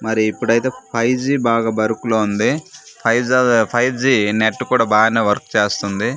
మరి ఇప్పుడైతే five G బాగా బరుకులో ఉంది ఫైవ్ జా జా నెట్ కూడా బానే వర్క్ చేస్తంది .